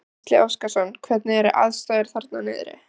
Gísli Óskarsson: Hvernig eru aðstæður þarna niðri?